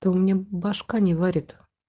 то у меня башка не варит